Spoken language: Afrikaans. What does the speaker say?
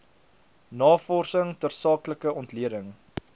navorsing tersaaklike ontleding